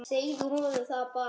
Segðu honum það bara!